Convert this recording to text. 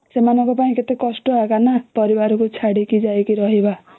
ସେମାନଙ୍କ ପାଇଁ କେତେ କଷ୍ଟ ଏଇଟା ପରିବାର କୁ ଛାଡିକି ଯାଇ ରହିବା